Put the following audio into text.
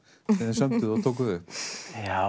sem þið sömduð og tókuð upp já